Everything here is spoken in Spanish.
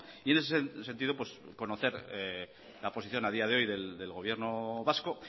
y en ese sentido pues conocer la posición a día de hoy del gobierno vasco